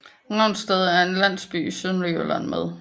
Ravsted er en landsby i Sønderjylland med